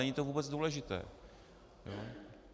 Není to vůbec důležité.